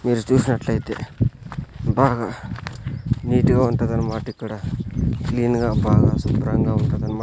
మీరు చూసినట్లయితే బాగా నీట్ గా వుంటాదనమాట ఇక్కడ క్లీన్ గా బాగా శుభ్రంగా వుంటాదనమాట.